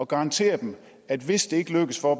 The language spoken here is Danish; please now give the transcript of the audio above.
garantere dem at hvis det ikke lykkes for